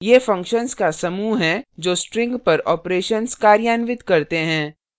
ये functions का समूह हैं जो strings पर operations कार्यान्वित करते हैं